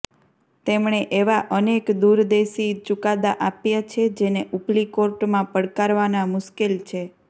તેમણે એવા અનેક દૂરંદેશી ચુકાદા આપ્યા છે જેને ઊપલી કોર્ટમાં પડકારવા મુશ્કેલ છે